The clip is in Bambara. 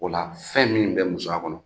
O la fɛn min kɛ musoya kɔnɔ